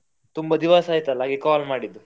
ತುಂಬ ದಿವಸ ಆಯ್ತಲ್ಲ ಹಾಗೆ call ಮಾಡಿದ್ದು.